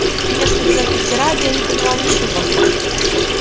конечно из этой тирады я не поняла ничего